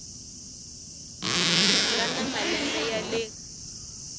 nga na malembe ya le